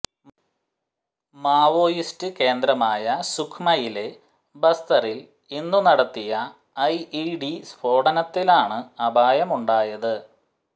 Maoist കേന്ദ്രമായ സുക്മയിലെ ബസ്തറിൽ ഇന്നു നടത്തിയ ഐഇഡി സ്ഫോടനത്തിലാണ് അപായമുണ്ടായത്